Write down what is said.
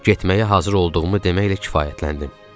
Getməyə hazır olduğumu deməklə kifayətləndim.